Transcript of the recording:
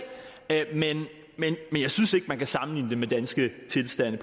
men jeg synes ikke man kan sammenligne det med danske tilstande